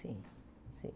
Sim, sim.